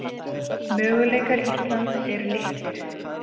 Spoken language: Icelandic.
Möguleikar Íslands eru litlir